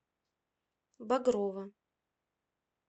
багрова